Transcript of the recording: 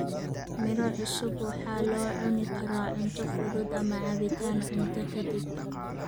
Miro cusub waxa loo cuni karaa cunto fudud ama cabbitaan cunto ka dib.